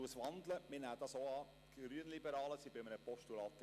Grossrätin Geissbühler, wandeln Sie Ihren Vorstoss!